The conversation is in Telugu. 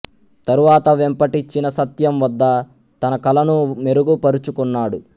తరువాత వెంపటి చినసత్యం వద్ద తన కళను మెరుగు పరుచుకున్నాడు